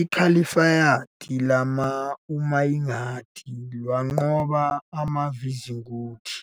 iKhalifayithi lamaUmayadi lwanqoba amaVisigothi